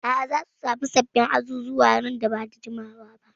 A'a, za su sami sabbin azuzuwa nan ba da jimawa ba.